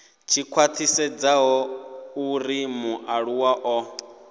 tshi khwathisedza uri mualuwa o